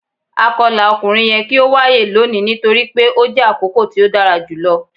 Akọla ọkunrin yẹ ki o waye loni nitori pe o jẹ akoko ti o dara julọ